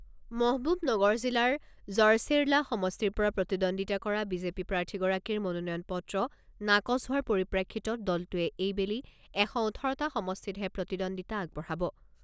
মহবুবনগৰ জিলাৰ জড়চেৰলা সমষ্টিৰ পৰা প্ৰতিদ্বন্দ্বিতা কৰা বিজেপি প্ৰাৰ্থীগৰাকীৰ মনোনয়ন পত্ৰ নাকচ হোৱাৰ পৰিপ্ৰেক্ষিতত দলটোৱে এইবেলি এশ ওঠৰটা সমষ্টিতহে প্ৰতিদ্বন্দ্বিতা আগবঢ়াব।